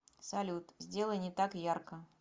салют сделай не так ярко